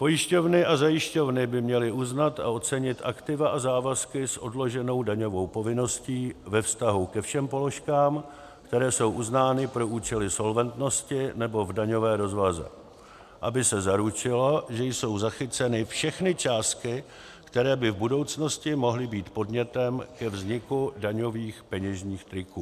Pojišťovny a zajišťovny by měly uznat a ocenit aktiva a závazky s odloženou daňovou povinností ve vztahu ke všem položkám, které jsou uznány pro účely solventnosti nebo v daňové rozvaze, aby se zaručilo, že jsou zachyceny všechny částky, které by v budoucnosti mohly být podnětem ke vzniku daňových peněžních toků.